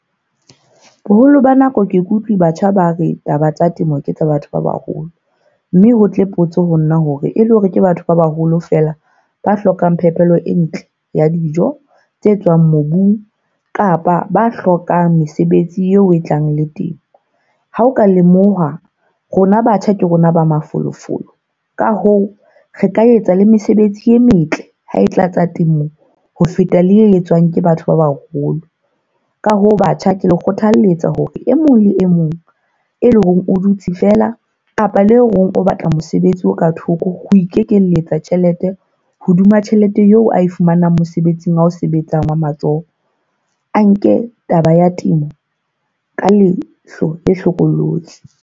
Boholo ba nako ke ikutlwe batjha ba re taba tsa temo ke tsa batho ba baholo. Mme ho tle potso ho nna hore e le hore ke batho ba baholo fela ba hlokang phepelo e ntle ya dijo tse tswang mobung. Kapa ba hlokang mesebetsi eo e tlang le temo. Ha o ka lemoha rona batjha ke rona ba mafolofolo. Ka hoo, re ka etsa le mesebetsi e metle ha e tlatsa temong. Ho feta le e etswang ke batho ba baholo. Ka hoo, batjha ke le kgothaletsa hore e mong le e mong e leng hore o dutse fela kapa le eo a batlang mosebetsi o ka thoko ho ikekeletsa tjhelete. Hodima tjhelete eo a e fumanang mosebetsing wa o sebetsang wa matsoho. A nke taba ya temo ka leihlo le hlokolosi.